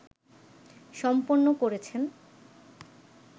সম্পন্ন করেছেন